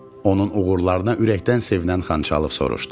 Onun uğurlarına ürəkdən sevinən Xançalov soruştu.